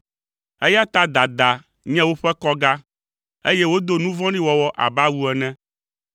Eya ta dada nye woƒe kɔga, eye wodo nu vɔ̃ɖi wɔwɔ abe awu ene.